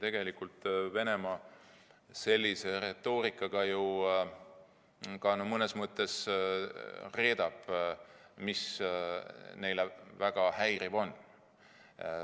Tegelikult Venemaa sellise retoorikaga ju mõnes mõttes reedab, mis nende jaoks väga häiriv on.